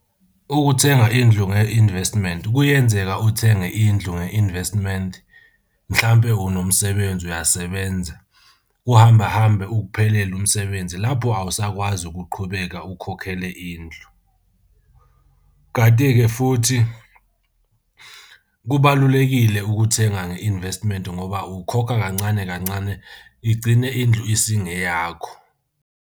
Ukuthenga indlu nge-investment, kuyenzeka uthenge indlu nge-investment mhlampe unomsebenzi uyasebenza, kuhamba hambe ukuphelele umsebenzi lapho awusakwazi ukuqhubeka ukhokhele indlu. Kanti-ke futhi kubalulekile ukuthenga nge-investment ngoba ukhokha kancane kancane igcine indlu isingeyakho.